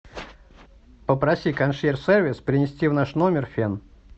попроси консьерж сервис принести в наш номер фен